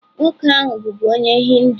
Nwoke ahụ bụbu onye Hindu.